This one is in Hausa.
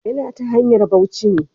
Ya na ta hanyar bauci ne.